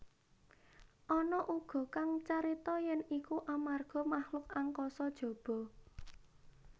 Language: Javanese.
Ana uga kang carita yèn iku amarga makhluk angkasa jaba